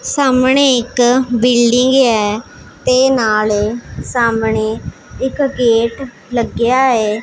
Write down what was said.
ਸਾਹਮਣੇ ਇੱਕ ਬਿਲਡਿੰਗ ਹ ਤੇ ਨਾਲੇ ਸਾਹਮਣੇ ਇੱਕ ਗੇਟ ਲੱਗਿਆ ਹੈ।